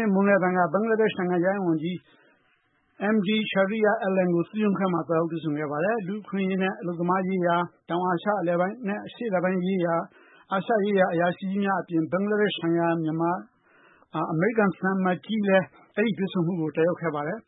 ေ့ မွန်းလွဲပိုင်းက ဘင်္ဂလားဒက်ရှ် နိုင်ငံခြားရေးဝန်ကြီး Md Shahriar Alan ကို သူ့ရုံးခန်းမှာ သွားရောက်တွေ့ဆုံခဲ့ပါတယ်။ လူ့အခွင့်အရေးနဲ့ အလုပ်သမားရေးရာ၊ တောင်နဲ့အာရှအလယ်ပိုင်းရေးရာ ၊ အာရှရေးရာ အရာရှိကြီးများအပြင် ဘင်္ဂလားဒက်ရှ်ဆိုင်ရာ အမေရိကန်သံအမတ်ကြီးလည်း အဲဒီတွေ့ဆုံ မှုကို တက်ရောက်ခဲ့ကြပါတယ်။